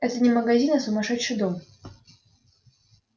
это не магазин а сумасшедший дом